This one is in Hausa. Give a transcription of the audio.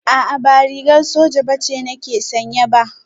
A'a ba rigar soja ce nake sanye ba